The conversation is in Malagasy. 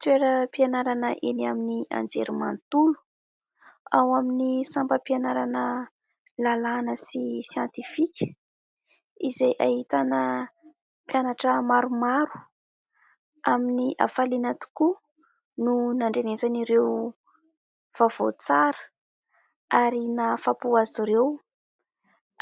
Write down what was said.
Toeram-pianarana eny amin'ny anjerimantolo, ao amin'ny sampam-pianarana lalàna sy siantifika izay ahitana mpianatra maromaro. Amin'ny afaliana tokoa no nandrenesan'ireo vaovao tsara ary nahafapo azy ireo